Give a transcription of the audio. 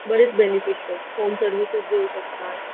बरेच benefits home service देऊ शकता.